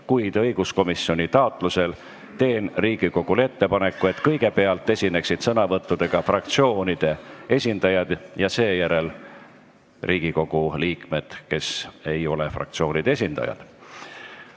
Kuid õiguskomisjoni taotlusel teen Riigikogule ettepaneku, et kõigepealt esineksid sõnavõttudega fraktsioonide esindajad ja seejärel Riigikogu liikmed, kes ei ole fraktsioonide esindajad.